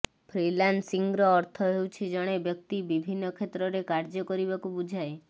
freelancing ର ଅର୍ଥ ହେଉଛି ଜଣେ ବ୍ୟକ୍ତି ବିଭିନ୍ନ କ୍ଷେତ୍ରରେ କାର୍ଯ୍ୟ କରିବାକୁ ବୁଝାଏ